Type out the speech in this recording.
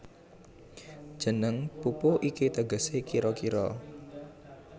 Jeneng pupuh iki tegesé kira kira